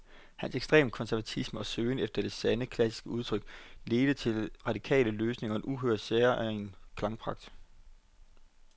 Hans ekstreme konservatisme og søgen efter det sande, klassiske udtryk ledte til radikale løsninger og en uhørt, særegen klangpragt.